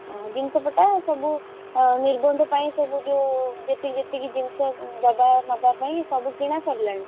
ଓହୋଃ ଜିନିଷ ପଟା ସବୁ ନିର୍ବନ୍ଧ ପାଇଁ ସବୁ ଯୋଉ ଯେତିକି ଯେତିକି ଜିନିଷ ଦବା ନବା ପାଇଁ ସବୁ କିଣା ସରିଲାଣି?